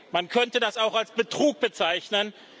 Man könnte das auch als Betrug bezeichnen.